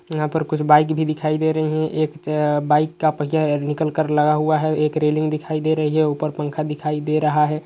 यहाँ पर कुछ बाइक भी दिखाई दे रही है। एक अ बाइक का पहियाँ निकलकर लगा हुआ है। एक रेलिंग दिखाई दे रही है। ऊपर पंखा दिखाई दे रहा है।